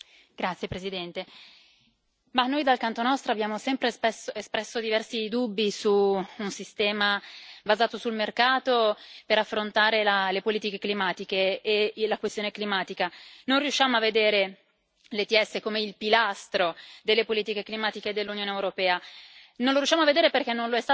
Signora Presidente, onorevoli colleghi, noi dal canto nostro abbiamo sempre spesso espresso diversi dubbi su un sistema basato sul mercato per affrontare le politiche climatiche e la questione climatica. Non riusciamo a vedere l'ETS come il pilastro delle politiche climatiche dell'Unione europea.